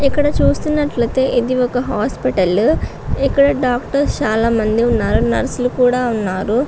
ఇక్కడ చూస్తున్నట్లయితే ఇదే ఒక హాస్పిటల్ ఇక్కడ డాక్టర్స్ చాలామంది ఉన్నారు. నర్సు లు కూడా ఉన్నారు.